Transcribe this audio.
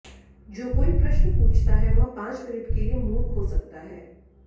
जो कोई प्रश्न पूछता है वह पांच मिनट के लिए मूर्ख हो सकता है